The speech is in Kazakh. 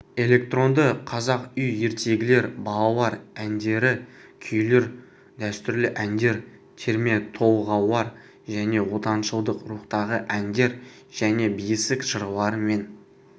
электронды қазақ үй ертегілер балалар әндері күйлер дәстүрлі әндер терметолғаулар және отаншылдық рухтағы әндер және бесік жырлары мен